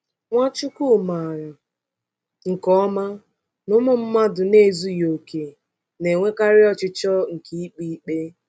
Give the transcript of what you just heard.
Nwachukwu maara nke ọma na ụmụ mmadụ na-ezughị okè na-enwekarị ọchịchọ nke ikpe ikpe.